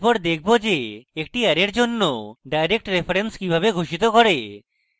এরপর দেখব যে একটি অ্যারের জন্য direct reference কিভাবে ঘোষিত করে